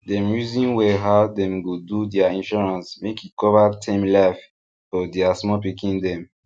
dem reason well how dem go do their insurance make e cover term life for their small pikin dem